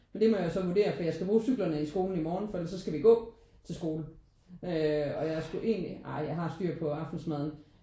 Men det må jeg jo så vurdere fordi jeg skal bruge cyklerne i skolen i morgen fordi ellers så skal vi gå til skole øh og jeg skulle egentlig ej jeg har styr på aftensmaden